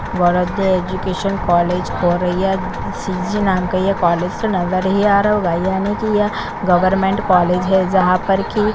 वरदे education college और ये सी जी नाम का ये कॉलेज तो नजर ही आ रहा होगा यानी की यह गवर्मेंट कॉलेज है जहा पर की--